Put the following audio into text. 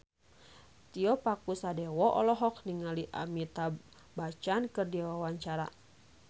Tio Pakusadewo olohok ningali Amitabh Bachchan keur diwawancara